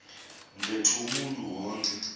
ntetho umntu wonke